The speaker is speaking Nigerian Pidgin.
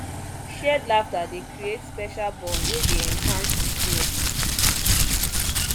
shared laughter dey create special bond wey dey enhance intimacy